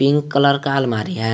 Pink colour का अलमारी है।